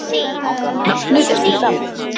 Nafnið er því gamalt.